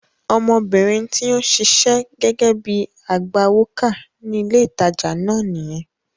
Ọmọbìnrin tí ó ń ṣiṣẹ́ gẹ́gẹ́ bíi agbawókà ní ilé ìtajà náà nìyẹn.